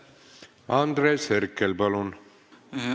Andres Herkel, palun!